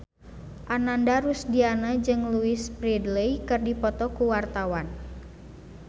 Ananda Rusdiana jeung Louise Brealey keur dipoto ku wartawan